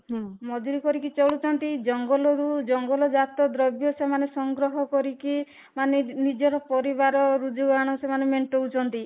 ହୁଁ , ମଜୁରୀ କରିକି ଚଳୁଛନ୍ତି ଜଙ୍ଗଲ ରୁ ଜଙ୍ଗଲ ଜାତ ଦ୍ରବ୍ୟ ସେମାନେ ସଂଗ୍ରହ କରିକି ମାନେ ନିଜ ନିଜର ପରିବାର ମାନେ ମେଣ୍ଟାଉଚନ୍ତି